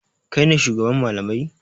Kai ne shugaban malamai?